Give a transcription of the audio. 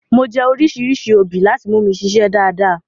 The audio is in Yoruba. Mo jẹ́ oríṣìíríṣìí obì láti mú mi ṣiṣé dáadáa.